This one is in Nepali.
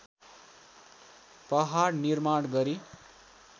पहाड निर्माण गरी